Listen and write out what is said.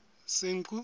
senqu